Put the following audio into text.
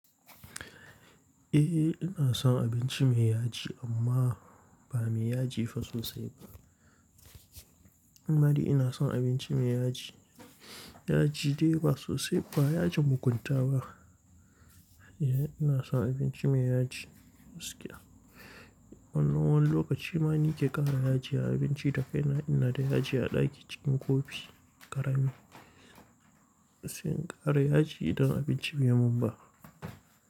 Eh ina son abinci mai yaji amma ba mai yaji fa sosai ba. Amma dai ina son abinci mai yaji, yaji dai ba sosai, ba yajin mugunta ba. Ina son abinci mai yaji gaskiya. Wannan wani lokaci ma ni ke ƙara yaji a abinci da kaina ina da yaji a ɗaki cikin kofi ƙarami. Sai in ƙara yaji idan abinci bai mun ba.